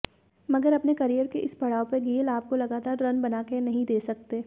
मगर अपने कैरियर के इस पड़ाव पर गेल आपको लगातार रन बनाकर नहीं दे सकते